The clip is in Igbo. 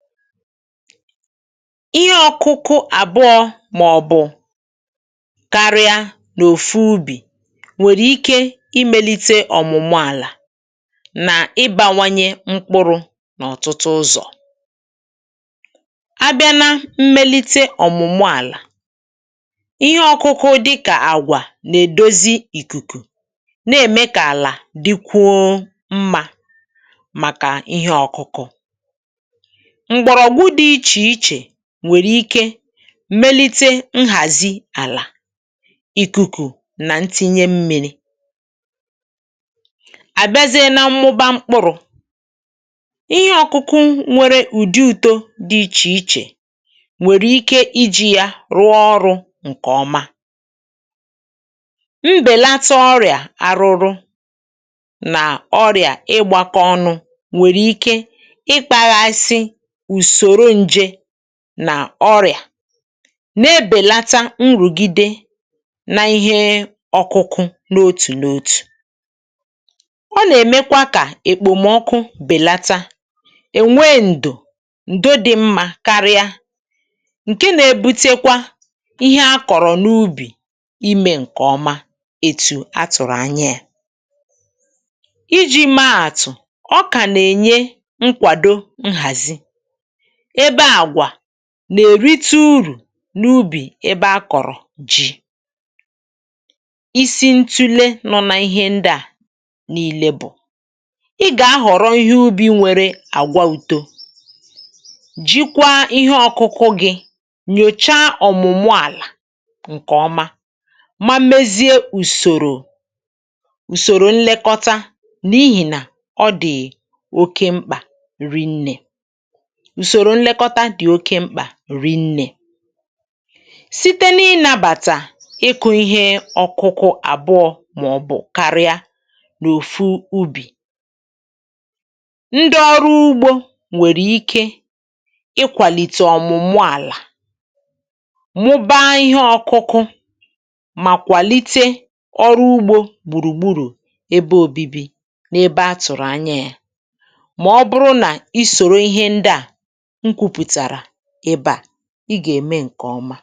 ihe ọkụkụ àbụọ màọ̀bụ̀ karịa n’òfu ubì nwèrè ike imėlite ọ̀mụ̀mụ àlà nà ịbȧwanye mkpụrụ n’ọ̀tụtụ ụzọ̀ a bịa na mmelite ọ̀mụ̀mụ àlà ihe ọkụkụ dịkà àgwà nà-èdozi ìkùkù na-ème kà àlà dịkwuo mmȧ màkà ihe ọ̀kụkụ mgbọrọgwụ dị ichè iche ǹwèrè ike melite nhàzi àlà ikuku nà ntìnye mmi̇ri àbịazie nȧ mmụba mkpụrụ̇ ihe ọ̀kụkụ nwere ùdi ùto dị̇ ichè ichè nwèrè ike iji̇ ya rụọ ọrụ̇ ǹkè ọma mbèlata ọrịà arụrụ nà ọrịà ịgbȧka ọnụ̇ nwèrè ike ùsòro nje nà ọrịà na-ebèlata nrùgide n’ihe ọkụkụ n’otù n’otù ọ nà-èmekwa kà èkpòmọkụ bèlata è nwee ǹdò ǹdo dị̇ mmȧ karịa ǹke na-ebutekwa ihe akọ̀rọ̀ n’ubì imė ǹkè ọma etu̇ atụ̀rụ̀ ànyȧ yȧ iji̇ maàtụ̀ ọ kà nà-ènye nkwàdo nhazi nà-èrite urù n’ubì ebe a kọ̀rọ̀ ji̇ isi ntule nọ nà ihe ndị à n’ile bụ̀ ị gà-ahọ̀rọ̀ ihe ubi̇ nwere àgwà uto jikwaa ihe ọkụkụ gị̇ nyòcha ọ̀mụ̀mụ àlà ǹkè ọma ma mezie ùsòrò ùsòrò nlekọta n’ihìnà ọ dị̀ oke mkpà rinnė bụ̀rụ̀ nlekọta dị̀ oke mkpà rinnė site n’inabàtà ịkụ̇ ihe ọ̀kụkụ àbụọ màọbụ̀ karịà n’òfu ubì ndị ọrụ ugbȯ nwèrè ike ịkwàlìtè ọ̀mụ̀mụ àlà mụba ihe ọ̀kụkụ mà kwàlite ọrụ ugbȯ gbùrùgbùrù ebe òbibi n’ebe atụ̀rụ̀ anya yȧ mà ọ bụrụ nà i sòrò ihe ndị à ị gà-ème ǹkè ọma